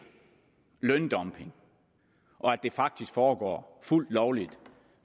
løndumping og at det faktisk foregår fuldt lovligt